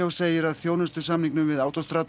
segir að þjónustusamningum við